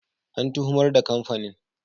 An tuhumar da kamfanin.